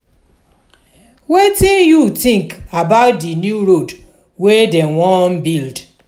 wetin you think about the new road wey dem wan build?